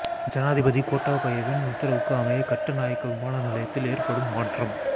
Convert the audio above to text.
ஜனாதிபதி கோட்டாபயவின் உத்தரவுக்கு அமைய கட்டுநாயக்க விமான நிலையத்தில் ஏற்படும் மாற்றம்